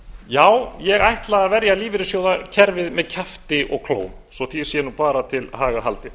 já ég ætla að verja lífeyrissjóðakerfið með kjafti og klóm svo því sé bara til haga haldið